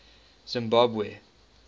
zimbabwe